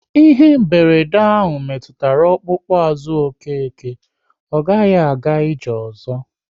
Ihe mberede ahụ metụtara ọkpụkpụ azụ Okeke, ọ gaghị aga ije ozo